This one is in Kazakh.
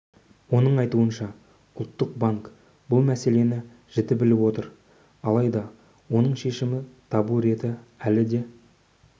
оның айтуынша ұлттық банк бұл мәселені жіті біліп отыр алайда оның шешімі табу реті әлі де